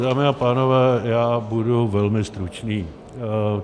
Dámy a pánové, já budu velmi stručný.